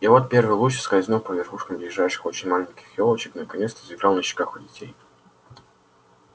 и вот первый луч скользнув по верхушкам ближайших очень маленьких ёлочек наконец-то заиграл на щеках у детей